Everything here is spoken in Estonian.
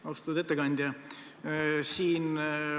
Austatud ettekandja!